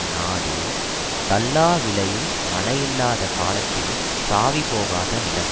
நாடு தள்ளா விளையுள் மழையில்லாத காலத்தினும் சாவிபோகாத நிலம்